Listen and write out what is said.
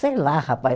Sei lá, rapaz.